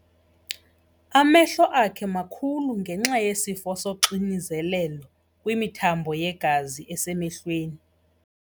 Amehlo akhe makhulu ngenxa yesifo soxinzelelo kwimithambo yegazi esemehlweni.